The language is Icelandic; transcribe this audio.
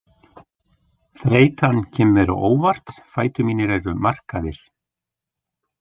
Þreytan kemur mér á óvart, fætur mínir eru markaðir.